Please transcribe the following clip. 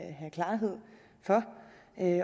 at